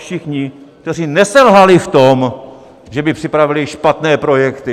Všichni, kteří neselhali v tom, že by připravili špatné projekty.